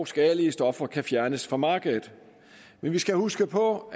skadelige stoffer kan fjernes fra markedet men vi skal huske på